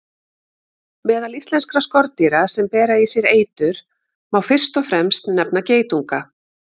Meðal íslenskra skordýra sem bera í sér eitur má fyrst og fremst nefna geitunga.